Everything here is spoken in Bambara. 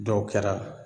Dɔw kɛra